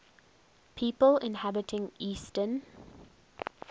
people inhabiting eastern